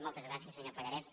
moltes gràcies senyor pallarès